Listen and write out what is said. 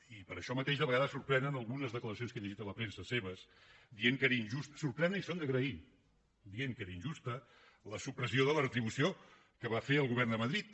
i per això mateix de vegades sorprenen algunes declaracions que he llegit a la premsa seves dient que era injusta sorprenen i són d’agrair la supressió de la retribució que va fer el govern de madrid